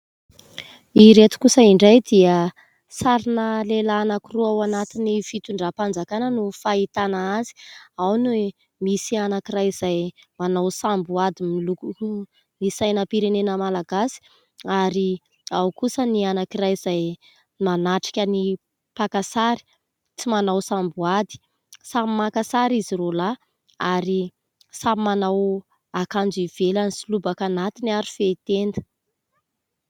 Ireto kosa indray dia sarina lehilahy anankiroa ao anatin'ny fitondram-panjakana no fahitana azy. Ao ny misy anankiray izay manao samboady miloko ny sainam-pirenena malagasy ary ao kosa ny anankiray izay manatrika ny mpaka sary, tsy manao samboady. Samy maka sary izy roa lahy ary samy manao akanjo ivelany sy lobaka anatiny ary fehitenda.